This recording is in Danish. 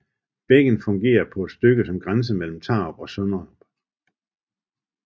Bækken fungerer på et stykke som grænse mellem Tarup og Sønderup